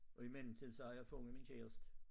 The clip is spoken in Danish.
Og i mellemtiden så har jeg fundet min kæreste